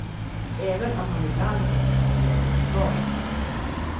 Även om han ibland inte kan ge något svar.